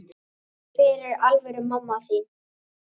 Hver er alvöru mamma þín?